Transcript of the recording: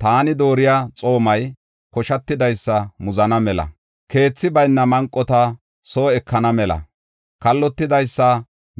Taani dooriya xoomay koshatidaysa muzana mela, keethi bayna manqota soo ekana mela, kallotidaysa